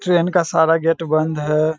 Train का सारा gate बंद है।